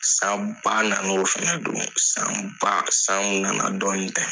San ba na na o fana don san ba san mun na na dɔɔnin tɛ.